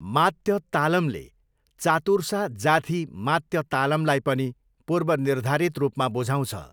मात्य तालमले चातुर्सा जाथी मात्य तालमलाई पनि पूर्वनिर्धारित रूपमा बुझाउँछ।